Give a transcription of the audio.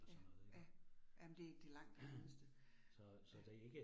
Ja, ja, jamen det det langt det nemmeste. Ja